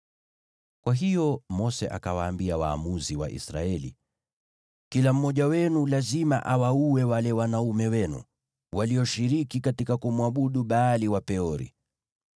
Kwa hiyo Mose akawaambia waamuzi wa Israeli, “Kila mmoja wenu lazima awaue wale wanaume wenu, walioshiriki katika kumwabudu Baali wa Peori.”